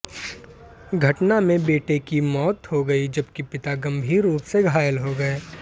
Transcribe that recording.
घटना में बेटे की मौत हो गयी जबकि पिता गंभीर रुप से घायल हो गये